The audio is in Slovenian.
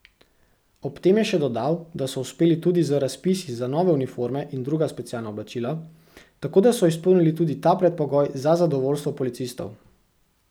Ob tem je še dodal, da so uspeli tudi z razpisi za nove uniforme in druga specialna oblačila, tako da so izpolnili tudi ta predpogoj za zadovoljstvo policistov.